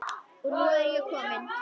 Og nú er ég komin!